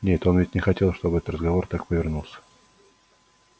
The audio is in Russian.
нет он ведь не хотел чтобы этот разговор так повернулся